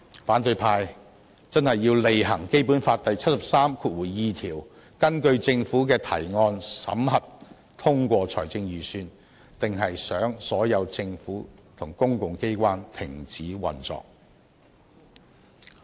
反對派真的要履行《基本法》第七十三條第二項"根據政府的提案，審核、通過財政預算"，還是想所有政府和公共機關停止運作？